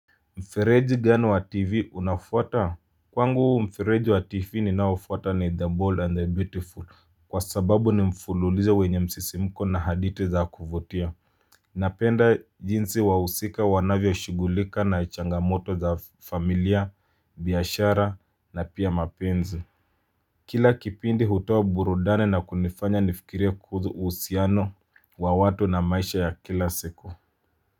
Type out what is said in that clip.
Mfereji gani wa tv unafuata? Kwangu mfireji wa tv ninaoufuata ni the bold and the beautiful. Kwa sababu ni mfululizo wenye msisimuko na hadithi za kuvutia. Napenda jinsi wa wahusika wanavyoshugulika na changamoto za familia, biashara na pia mapenzi. Kila kipindi hutoa burudani na kunifanya nifikirie kuhusu uhusiano wa watu na maisha ya kila siku.